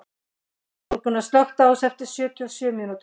Þórgunna, slökktu á þessu eftir sjötíu og sjö mínútur.